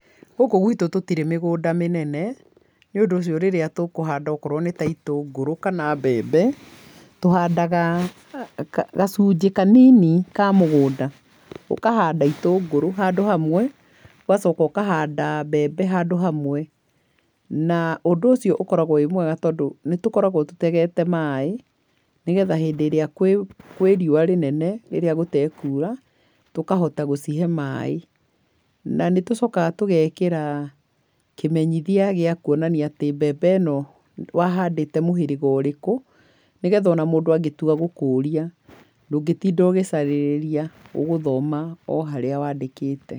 Gũkũ gwitũ tũtiri mĩgũnda mĩnene, nĩ ũndũ ũcio rĩrĩa tũkũhanda okorwo nĩ ta itũngũrũ kana mbembe, tũhandaga gacunjĩ kanini ka mũgũnda, ũkahanda itũngũrũ handũ hamwe ũgacoka ũkahanda mbembe handũ hamwe na ũndũ ũcio ũkoragwo wĩ mwega tondũ nĩ tũkoragwo tũtegete maaĩ nĩ getha hĩndĩ ĩrĩa kwĩ riũa rĩnene rĩrĩa gũtekura tũkahota gũcihe maaĩ, na nĩ tũcokaga tũgekĩra kĩmenyithia gĩa kuonania atĩ mbembe ĩno wahandĩte mũhĩrĩga ũrĩkũ nĩ getha o na mũndũ angĩtua gũkũria ndũngĩtinda ũgĩcarĩrĩria, ũgũthoma o harĩa wandĩkĩte.